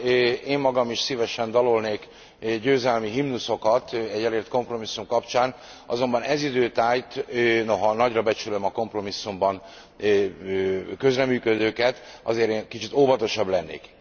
Bár én magam is szívesen dalolnék győzelmi himnuszokat egy elért kompromisszum kapcsán, azonban ez idő tájt noha nagyra becsülöm a kompromisszumban közreműködőket azért én kicsit óvatosabb lennék.